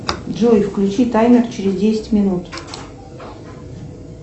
джой включи таймер через десять минут